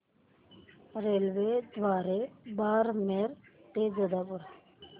रेल्वेद्वारे बारमेर ते जोधपुर